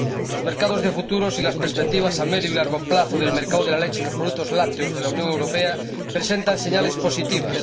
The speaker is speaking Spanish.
Los mercados de futuro y las perspectivas a medio y largo plazo del mercado de la leche y los productos lácteos de la Unión Europea presentan señales positivas.